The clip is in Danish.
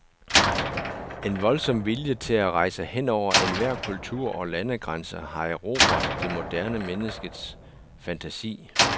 En voldsom vilje til at rejse henover enhver kultur og landegrænse har erobret det moderne menneskes fantasi.